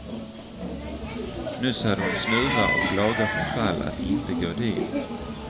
Nyss hade hon snuva och laga förfall att inte gå dit.